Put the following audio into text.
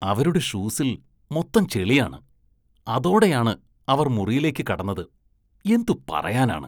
അവരുടെ ഷൂസില്‍ മൊത്തം ചെളിയാണ്, അതോടെയാണ് അവര്‍ മുറിയിലേക്ക് കടന്നത്, എന്തു പറയാനാണ്.